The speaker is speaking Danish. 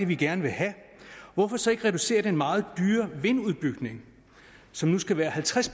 vi gerne vil have hvorfor så ikke reducere den meget dyre vindudbygning som nu skal være halvtreds